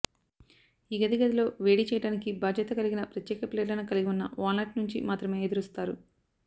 ఈ గది గదిలో వేడి చేయడానికి బాధ్యత కలిగిన ప్రత్యేక ప్లేట్లను కలిగి ఉన్న వాల్నట్ నుంచి మాత్రమే ఎదురుస్తారు